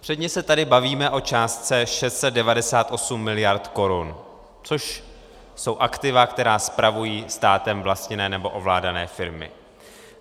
Předně se tady bavíme o částce 698 miliard korun, což jsou aktiva, které spravují státem vlastněné nebo ovládané firmy.